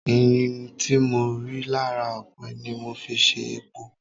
Ẹ̀yìn tí mo rí lára ọ̀pẹ ni mo fi ṣe epo.